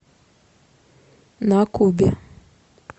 на кубе